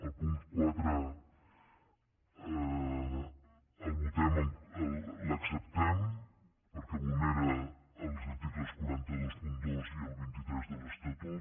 el punt quatre no l’acceptem perquè vulnera els articles quatre cents i vint dos i el vint tres de l’estatut